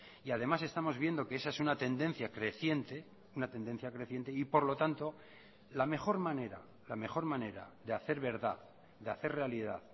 y además estamos viendo que esa es una tendencia creciente una tendencia creciente y por lo tanto la mejor manera la mejor manera de hacer verdad de hacer realidad